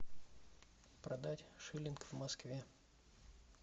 продать шиллинг в москве